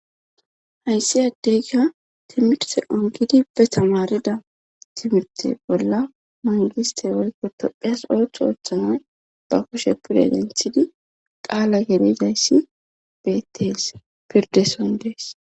hayssi addeka timirte on gidi be tamarida timirte bolla mangiste wolkko tophiyas othu ooththanay ba kushe pude agenthidi qaala gelizayssi bettees pirdeson dees